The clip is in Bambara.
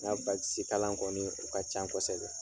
Ŋa kalan kɔni, o ka can kosɛbɛ.